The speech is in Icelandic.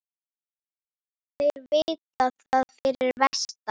Þeir vita það fyrir vestan